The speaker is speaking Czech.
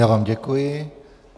Já vám děkuji.